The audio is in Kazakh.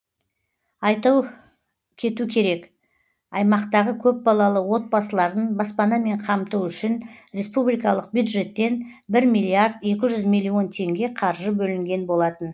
айту кету керек аймақтағы көпбалалы отбасыларын баспанамен қамту үшін республикалық бюджеттен бір миллиард екі жүз миллион теңге қаржы бөлінген болатын